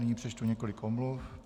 Nyní přečtu několik omluv.